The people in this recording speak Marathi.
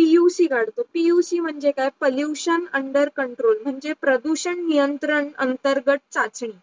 PUC करतो PUC म्हणजे काय? Pollution UnderControl म्हणजे प्रदूषण नियंत्रण अंतर्गत चाचणे